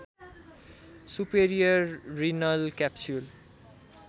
superior renal capsule